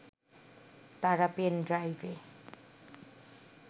তারা পেন ড্রাইভে